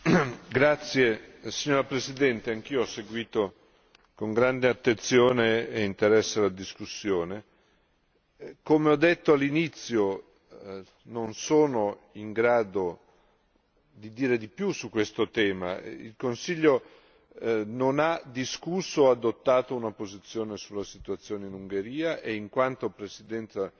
Signora Presidente, onorevoli deputati, anch'io ho seguito con grande attenzione e interesse la discussione. Come ho detto all'inizio, non sono in grado di dire di più su questo tema il Consiglio non ha discusso o adottato una posizione sulla situazione in Ungheria e in quanto Presidenza